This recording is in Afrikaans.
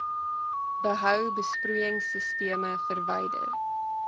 behou besproeiingsisteme verwyder